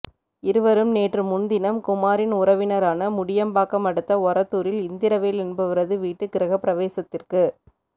இருவரும் நேற்று முன் தினம் குமாரின் உறவினரான முண்டியம்பாக்கம் அடுத்த ஒரத்தூரில் இந்திரவேல் என்பவரது வீட்டு கிரக பிரவேசத்திற்கு